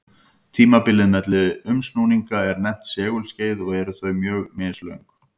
Tímabilið milli umsnúninga er nefnt segulskeið og eru þau mjög mislöng.